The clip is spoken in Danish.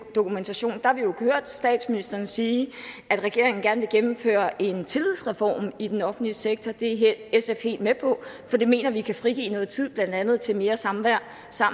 dokumentation der har vi jo hørt statsministeren sige at regeringen gerne vil gennemføre en tillidsreform i den offentlige sektor det er sf helt med på for det mener vi kan frigive noget tid blandt andet til mere samvær